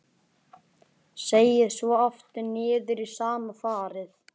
Seig svo aftur niður í sama farið.